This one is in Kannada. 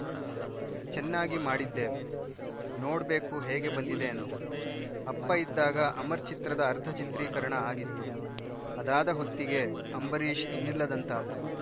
ಚೆನ್ನಾಗಿ ಮಾಡಿದ್ದೇವೆ ನೋಡ್ಬೇಕು ಹೇಗೆ ಬಂದಿದೆ ಅಂತ ಅಪ್ಪ ಇದ್ದಾಗ ಅಮರ್‌ ಚಿತ್ರದ ಅರ್ಧ ಚಿತ್ರೀಕರಣ ಆಗಿತ್ತು ಅದಾದ ಹೊತ್ತಿಗೆ ಅಂಬರೀಷ್‌ ಇನ್ನಿಲ್ಲದಂತಾದ್ರು